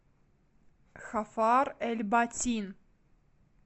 хафар эль батин